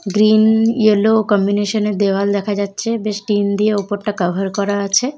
Green yellow combination এর দেওয়াল দেখা যাচ্ছে বেশ টিন দিয়ে ওপরটা কাভার করা আছে।